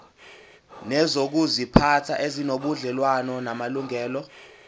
nezokuziphatha ezinobudlelwano namalungelo